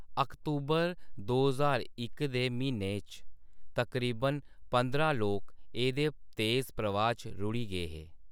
अक्तूबर दो ज्हार इक दे म्हीने च तकरीबन पंदरां लोक एह्दे‌ तेज प्रवाह् च रुढ़ी गे हे।